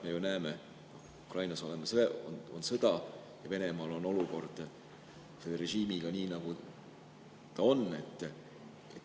Me ju näeme, et Ukrainas on sõda ja Venemaal on olukord režiimiga nii, nagu ta on.